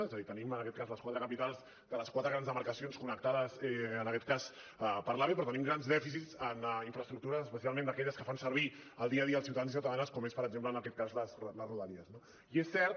és a dir tenim les quatre capitals de les quatre grans demarcacions connectades per l’ave però tenim grans dèficits en infraestructures especialment aquelles que fan servir al dia a dia els ciutadans i ciutadanes com són per exemple les rodalies no i és cert